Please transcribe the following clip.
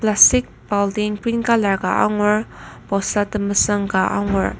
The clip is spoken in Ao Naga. plastic baltin green colour ka angur bosta temesüng ka angur.